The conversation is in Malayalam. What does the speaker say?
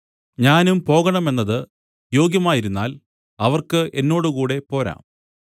ഞാനും പോകണമെന്നത് യോഗ്യമായിരുന്നാൽ അവർക്ക് എന്നോടുകൂടെ പോരാം